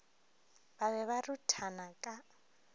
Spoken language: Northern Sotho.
ba be ba ruthana ka